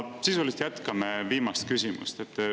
Sisuliselt jätkan viimast küsimust.